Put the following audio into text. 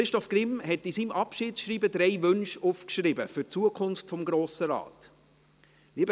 Christoph Grimm hat in seinem Abschiedsschreiben drei Wünsche für die Zukunft des Grossen Rates aufgeschrieben.